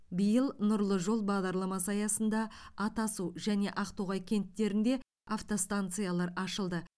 биыл нұрлы жол бағдарламасы аясында атасу және ақтоғай кенттерінде автостанциялар ашылды